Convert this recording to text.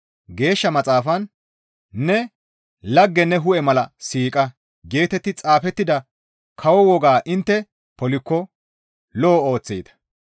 Geeshsha Maxaafan, «Ne lagge ne hu7e mala siiqa» geetetti xaafettida kawo wogaa intte polikko lo7o ooththeeta.